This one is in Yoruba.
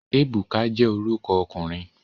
Ebuka je oruko okunrin